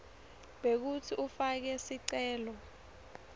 bekutsi ufake sicelo